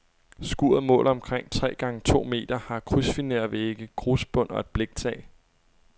Skuret måler omkring tre gange to meter, har krydsfinervægge, grusbund og et bliktag.